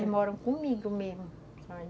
Elas moram comigo mesmo.